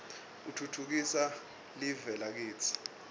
utfutfukisa liue lakitsi